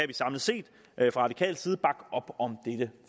vi samlet set fra radikal side bakke op om dette